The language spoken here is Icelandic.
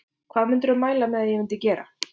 Hvað myndirðu mæla með að ég myndi gera?